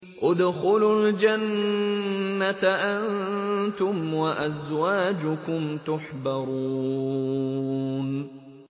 ادْخُلُوا الْجَنَّةَ أَنتُمْ وَأَزْوَاجُكُمْ تُحْبَرُونَ